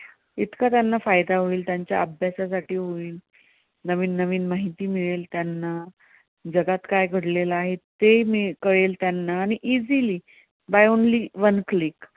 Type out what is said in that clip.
इतकं त्यांना फायदा होईल, त्यांच्या अभ्यासासाठी होईल, नवीन नवीन माहिती मिळेल त्यांना, जगात काय घडलेलं आहे, ते कळेल त्यांना आणि easily by only one click